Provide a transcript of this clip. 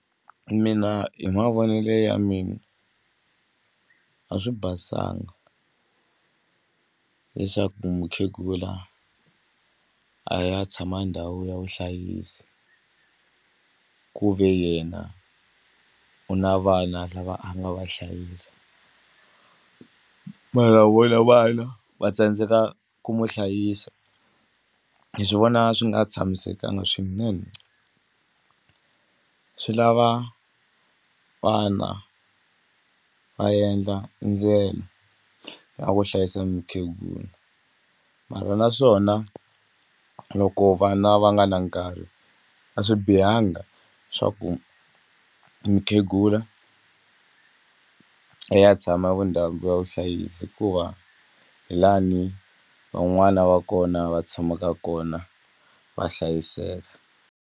Mina hi mavonele ya mina a swi basanga leswaku mukhegula a ya tshama ndhawu ya vuhlayisi ku ve yena u na vana lava a nga va hlayisa mara vona vana va tsandzeka ku n'wi hlayisa hi swi vona swi nga tshamisekanga swinene u swi lava vana va endla ndlela ya ku hlayisa mukhegula mara naswona loko vana va nga na nkarhi a swi bihanga swa ku mukhegula eya tshama vundhawu ya vuhlayisi hikuva hi lani van'wana va kona va tshamaka kona va hlayiseka.